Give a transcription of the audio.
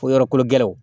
Ko yɔrɔ kolo gɛlɛnw